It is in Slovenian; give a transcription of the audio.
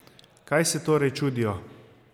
Kaj se torej čudijo?